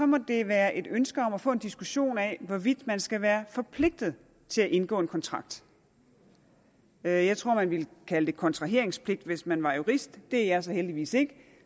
må det være et ønske om at få en diskussion af hvorvidt man skal være forpligtet til at indgå en kontrakt jeg jeg tror man ville kalde det kontraheringspligt hvis man var jurist det er jeg heldigvis ikke